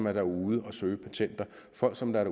er derude og søger patenter folk som er